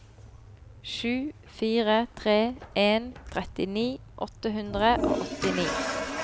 sju fire tre en trettini åtte hundre og åttini